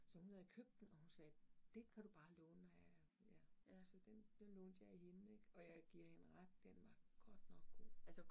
Så hun havde købt den, og hun sagde, den kan du bare låne, når jeg, ja, så den den lånte jeg af hende ik, og jeg giver hende ret, den var godt nok god